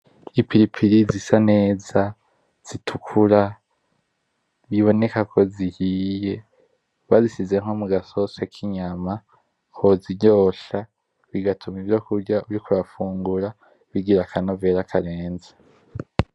Ipiripiri zisa neza, zitukura, biboneka ko zihiye. Bazishize nko mu gasosi k'inyama ko kiryoshya, bigatuma ivyo kurya uriko urafungura bigira akanovera karenze.